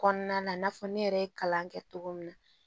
Kɔnɔna na i n'a fɔ ne yɛrɛ ye kalan kɛ cogo min na